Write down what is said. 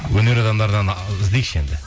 өнер адамдар іздейікші енді